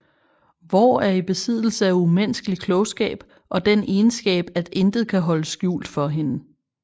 Vår er i besiddelse af umenneskelig klogskab og den egenskab at intet kan holdes skjult for hende